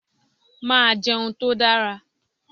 Màá jẹun tó dára.